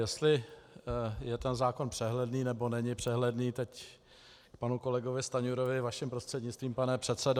Jestli je ten zákon přehledný, nebo není přehledný - k panu kolegovi Stanjurovi vaším prostřednictvím, pane předsedo.